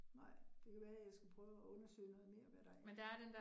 Nej, det kan være jeg skal prøve at undersøge noget mere, hvad der er